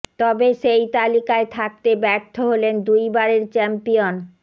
তবে সেই তালিকায় থাকতে ব্যর্থ হলেন দুই বারের চ্যাম্পিয়ন